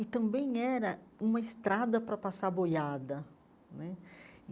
E também era uma estrada para passar boiada né.